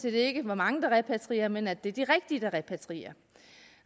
ikke at mange repatrierer men at det er de rigtige der repatrierer